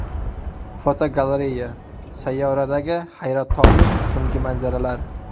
Fotogalereya: Sayyoradagi hayratomuz tungi manzaralar.